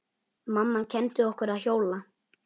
Mamma kenndi okkur að hjóla.